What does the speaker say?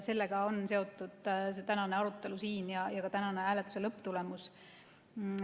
Sellega on seotud tänane arutelu siin ja ka tänane hääletuse lõpptulemus.